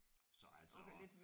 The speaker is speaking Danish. Så altså